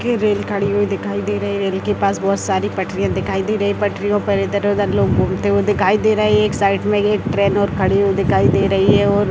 की रेलगाड़ी खड़ी हुई दिखाई दे रही है रेल के पास बहुत सारी पटरियां दिखाई दे रही है पटरियों पर इधर-उधर लोग घूमते हुए दिखाई दे रहे है एक साइड में एक ट्रैन और खड़ी हुई दिखाई दे रही है और--